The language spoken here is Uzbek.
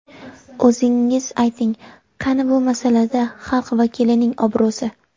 O‘zingiz ayting, qani bu masalada xalq vakilining obro‘si?